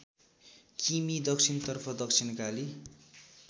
किमि दक्षिणतर्फ दक्षिणकाली